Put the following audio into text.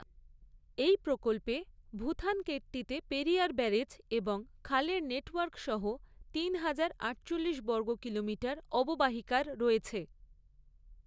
এই প্রকল্পে ভূথানকেট্টিতে পেরিয়ার ব্যারেজ এবং খালের নেটওয়ার্ক সহ তিন হাজার, আটচল্লিশ বর্গ কিলোমিটার অববাহিকার রয়েছে।